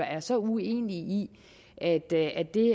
er så uenige i at det at det